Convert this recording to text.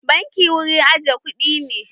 Banki wurin aje kuɗi ne.